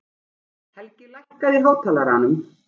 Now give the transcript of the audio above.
Helgi, lækkaðu í hátalaranum.